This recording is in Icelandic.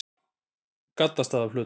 Gaddstaðaflötum